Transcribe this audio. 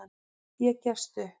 Ég gefst upp.